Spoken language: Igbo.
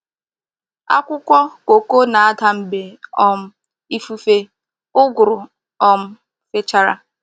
Akwụkwọ kókó na-ada mgbe um ifufe ụ́gụ́rù um fechara.